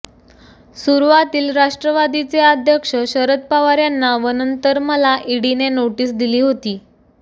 सुरुवातील राष्ट्रवादीचे अध्यक्ष शरद पवार यांना व नंतर मला ईडीने नोटीस दिली होती